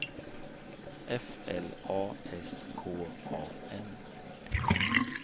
F L A S K A N